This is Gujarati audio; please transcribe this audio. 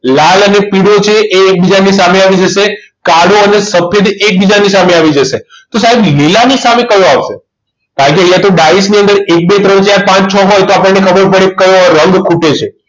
લાલ અને પીળો છે એ એકબીજાની સામે આવી જશે કાળો અને સફેદ એકબીજાની સામે આવી જશે તો સાહેબ લીલાની સામે કયો આવશે બાકી અહીંયા ડાઇઝની અંદર એક બે ત્રણ ચાર પાંચ છ હોય તો આપણને ખબર પડે કયો રંગ ખૂટે છે